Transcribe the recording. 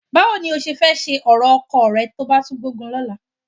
Báwo ni o ṣe fẹ́ ṣe ọ̀rọ̀ ọkọ rẹ tó bá tún gbógun lọ́la?